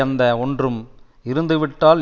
அந்த ஒன்றும் இருந்து விட்டால்